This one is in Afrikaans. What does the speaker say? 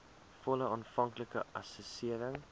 volle aanvanklike assessering